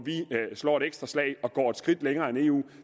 slår et ekstra slag og går et skridt længere end eu